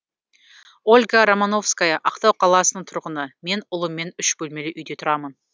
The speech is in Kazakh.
ольга романовская ақтау қаласының тұрғыны мен ұлыммен үш бөлмелі үйде тұрамын